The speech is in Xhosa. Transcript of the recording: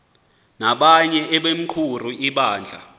nabanye abequmrhu lebandla